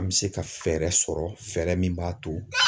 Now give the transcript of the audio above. An bɛ se ka fɛɛrɛ sɔrɔ fɛɛrɛ min b'a to